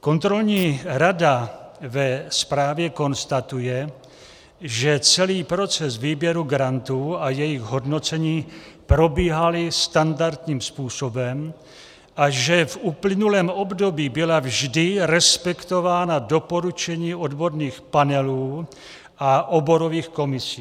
Kontrolní rada ve zprávě konstatuje, že celý proces výběru grantů a jejich hodnocení probíhalo standardním způsobem a že v uplynulém období byla vždy respektována doporučení odborných panelů a oborových komisí.